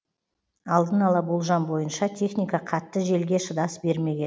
алдын ала болжам бойынша техника қатты желге шыдас бермеген